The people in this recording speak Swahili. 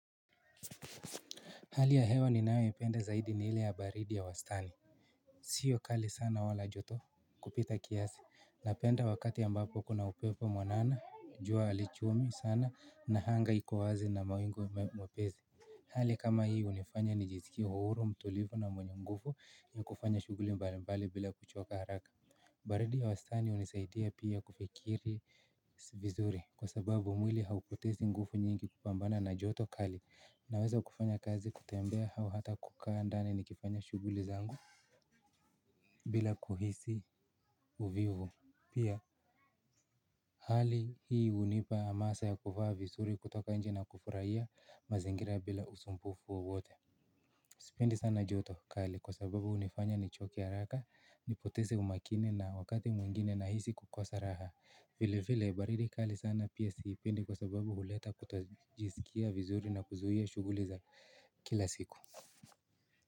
Hali ya hewa ninayoipenda zaidi ni ile ya baridi ya wastani. Siyo kali sana wala joto kupita kiasi. Napenda wakati ambapo kuna upepo mwanana, jua halichomi sana na anga ikowazi na mawingu mepesi. Hali kama hii hunifanya nijisikie huru, mtulivu na mwenye nguvu, ni kufanya shughuli mbalimbali bila kuchoka haraka. Baridi ya wastani hunisaidia pia kufikiri vizuri. Kwa sababu mwili haupotezi nguvu nyingi kupambana na joto kali. Naweza kufanya kazi kutembea au hata kukaa ndani nikifanya shughuli zangu. Bila kuhisi uvivu. Pia hali hii hunipa hamasa ya kuvaa vizuri kutoka nje na kufurahia mazingira bila usumbufu wowote. Sipendi sana joto kali kwa sababu hunifanya nichoke haraka, nipoteze umakini na wakati mwingine nahisi kukosa raha. Vile vile baridi kali sana pia siipende kwa sababu huleta kutojisikia vizuri na kuzuia shughuli za kila siku.